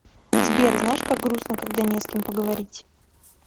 сбер знаешь как грустно когда не с кем поговорить